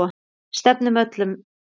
Við stefnum öllum þessum